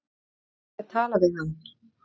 Fá ekki að tala við hann